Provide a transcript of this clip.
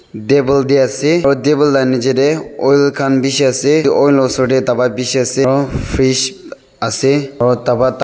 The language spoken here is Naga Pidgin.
table teh ase aru table na niche teh oil khan bishi ase itu oil osor tawai bishi ase aro fridge ase aro dawai--